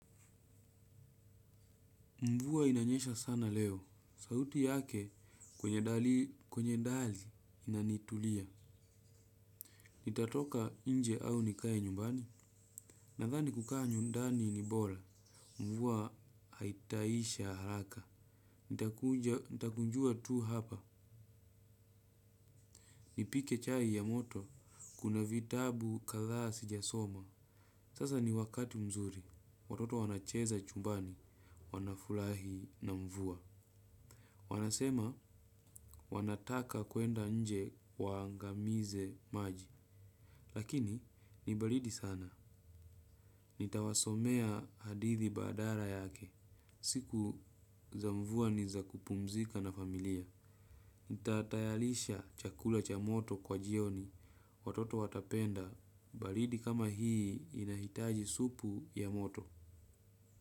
Mvua inanyesha sana leo. Sauti yake kwenye dari inanitulia. Nitatoka nje au nikae nyumbani. Nadhani kukaa ndani ni bora. Mvua haitaisha haraka. Nitakunjua tu hapa. Nipike chai ya moto. Kuna vitabu kadha sijasoma. Sasa ni wakati mzuri. Watoto wanacheza chumbani. Wanafulahi na mvuwa. Wanasema wanataka kuenda nje waangamize maji. Lakini ni baridi sana. Nitawasomea hadithi badala yake. Siku za mvua ni za kupumzika na familia. Nitatayarisha chakula cha moto kwa jioni. Watoto watapenda. Balidi kama hii inahitaji supu ya moto.